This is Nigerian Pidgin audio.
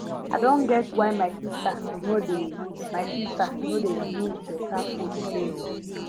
i don get why my sister no dey sister no dey use better food play o